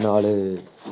ਨਾਲ